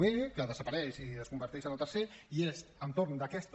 b que desapareix i es converteix en el tercer i és entorn d’aquesta